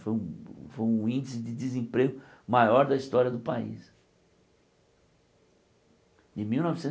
Foi um foi um índice de desemprego maior da história do país. De mil